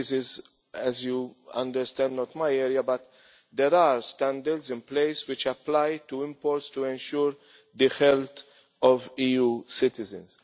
This is, as you understand, not my area, but there are standards in place which apply to imports to ensure the health of EU citizens.